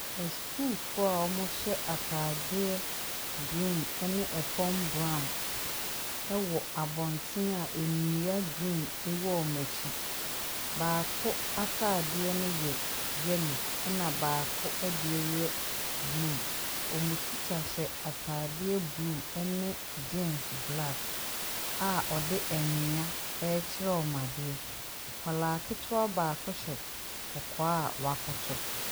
Asukuufo) a )mohy3 ataade3 green 3ne 3fam brown 3w) ab)nten a nnua green 3w) )mo akyi. baako ataade3 no y3 y3lo 3na baako 3de3 y3 bluu. )mo tikya hy3 ataade3 bluu 3ne jeans black a )de 3nnua rekyer3 )mo ade3. Ak)laa ketewaa baako hy3 k)k)) a w'akoto.